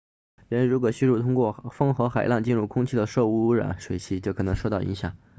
人如果吸入通过风和海浪进入空气的受污染水气就可能受到影响